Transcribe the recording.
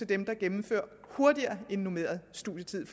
dem der gennemfører hurtigere end normeret studietid